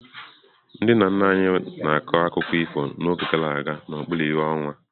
Ndị nna nna anyị na-akọ akụkọ ifo n'oge gara aga n'okpuru ìhè ọnwa.